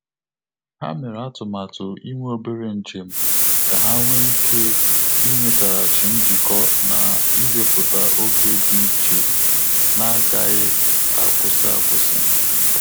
Ha mere atụmatụ inwe obere njem ka ha nwe ike inweteghachi njikọ na iweputa oge dị iche n'agaghi akwụsị akwụsị